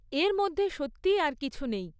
এর মধ্যে সত্যিই আর কিছু নেই।